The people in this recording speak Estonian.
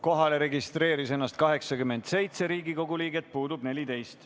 Kohalolijaks registreeris ennast 87 Riigikogu liiget, puudub 14.